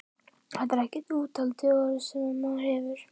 Þetta er ekkert úthald orðið, sem maðurinn hefur!